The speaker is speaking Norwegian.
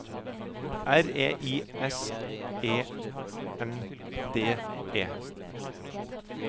R E I S E N D E